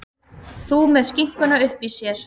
Þú með skinkuna uppí þér.